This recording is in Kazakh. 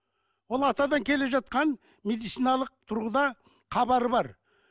ол атадан келе жатқан медициналық тұрғыда хабары бар